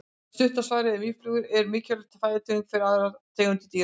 Stutta svarið er að mýflugur eru mikilvæg fæðutegund fyrir aðrar tegundir dýra.